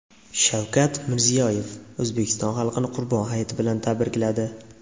Shavkat Mirziyoyev O‘zbekiston xalqini Qurbon hayiti bilan tabrikladi.